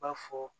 B'a fɔ